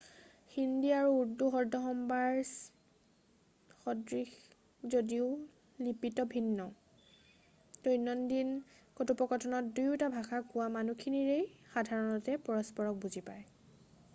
হিন্দী আৰু উৰ্দু শব্দ-সম্ভাৰ স্দৃশ যদিও লিপিত ভিন্ন দৈনন্দিন কথোপকথনত দুয়োটা ভাষা কোৱা মানুহখিনিয়ে সাধাৰণতে পৰস্পৰক বুজি পায়